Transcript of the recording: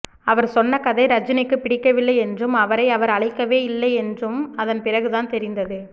அவர் சொன்ன கதை ரஜினிக்கு பிடிக்கவில்லை என்றும் அவரை அவர் அழைக்கவே இல்லையென்றும் அதன் பிறகு தான் தெரிந்தது